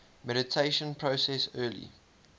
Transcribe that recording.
mediation process early